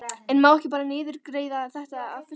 En má ekki bara niðurgreiða þetta að fullu?